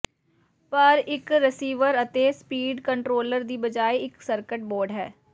ਪਰ ਇੱਕ ਰਸੀਵਰ ਅਤੇ ਸਪੀਡ ਕੰਟਰੋਲਰ ਦੀ ਬਜਾਏ ਇੱਕ ਸਰਕਟ ਬੋਰਡ ਹੈ